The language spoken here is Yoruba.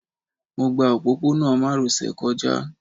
Mo gba òpópó-ọ̀nà márosẹ̀ kọjá